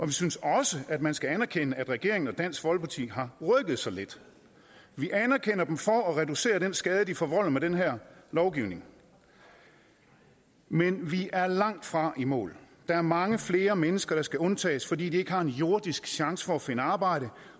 vi synes også at man skal anerkende at regeringen og dansk folkeparti har rykket sig lidt vi anerkender dem for at reducere den skade de forvolder med den her lovgivning men vi er langtfra i mål der er mange flere mennesker der skal undtages fordi de ikke har en jordisk chance for at finde arbejde